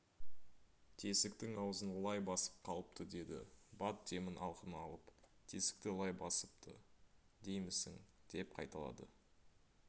тесіктің аузын лай басып қалыпты деді бат демін алқына алып тесікті лай басыпты деймісің деп қайталады